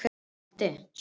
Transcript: Adíel, spilaðu lag.